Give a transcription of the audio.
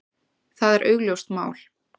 Það er augljóst mál.